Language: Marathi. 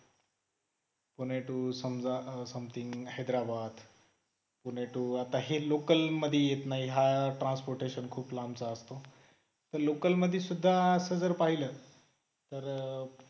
पुणे to समजा something हैदराबाद पुणे to आता हे local मध्ये येत नाही हा transportation खूप लांबचा असतो तर local मध्ये सुद्धा असं जर पाहिलं